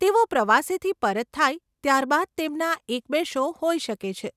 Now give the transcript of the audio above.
તેઓ પ્રવાસેથી પરત થાય ત્યાર બાદ તેમના એક બે શો હોઈ શકે છે.